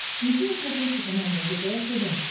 включи на смотрешке канал лдпр тв